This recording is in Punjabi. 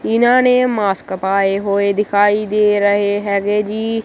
ਇਹਨਾਂ ਨੇਂ ਮਾਸਕ ਪਾਏ ਹੋਏ ਦਿਖਾਈ ਦੇ ਰਹੇ ਹੈਗੇ ਜੀ।